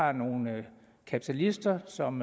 er nogle kapitalister som